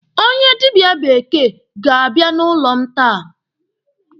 Onye dịbịa bekee ga-abịa n'ụlọ m taa.